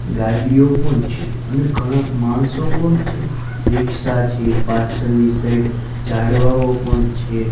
ગાડીઓ પણ છે અને ઘણા માણસો પણ છે રીક્ષા છે પાછળની સાઈડ ઝાડવાઓ પણ છે.